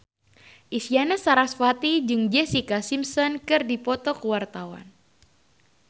Isyana Sarasvati jeung Jessica Simpson keur dipoto ku wartawan